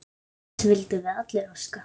Þess vildum við allir óska.